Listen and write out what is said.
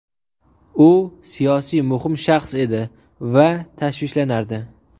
U siyosiy muhim shaxs edi va tashvishlanardi.